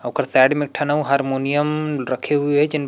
ओकर साइड में ठन हारमोनियम रखे हुए हे लेकिन